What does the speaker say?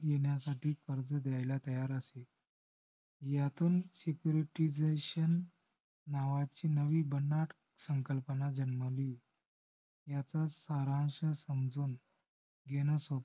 येण्यासाठी कर्ज द्यायला तयार असे. हयातून securtyisation नावाची नवी भन्नाट संकल्पना जन्मली. ह्याचाच सारांश समजून घेणे